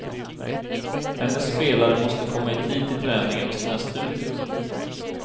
Hennes spelare måste komma i tid till träningen och sina studier.